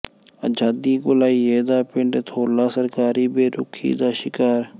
ਆਜ਼ਾਦੀ ਘੁਲਾਈਏ ਦਾ ਪਿੰਡ ਧੌਲਾ ਸਰਕਾਰੀ ਬੇਰੁਖ਼ੀ ਦਾ ਸ਼ਿਕਾਰ